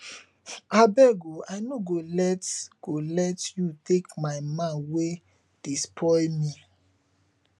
abeg oo i n go let go let you take my man wey dey spoil me